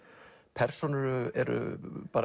persónur eru